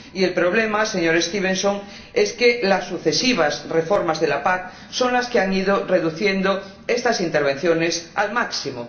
El problema, señor Stevenson, es que han sido las sucesivas reformas de la PAC las que han ido reduciendo estas intervenciones al máximo.